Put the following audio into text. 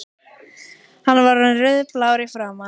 Hann var orðinn rauðblár í framan.